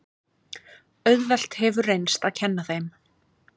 Auðvelt hefur reynst að kenna þeim.